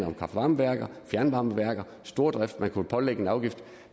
om kraftvarmeværker fjernvarmeværker stordrift som man kunne pålægge en afgift